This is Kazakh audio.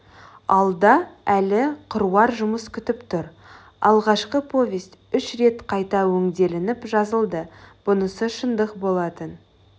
алда әлі қыруар жұмыс күтіп тұр алғашқы повесть үш рет қайта өңделініп жазылды бұнысы шындық болатын